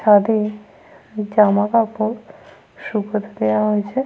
ছাদে জামাকাপড় শুকোতে দেওয়া হয়েছে।